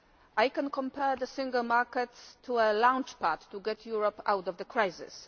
I can compare the Single Market to a launch pad to get Europe out of the crisis